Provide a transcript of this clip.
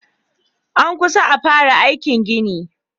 An kusa a fara aikin gini.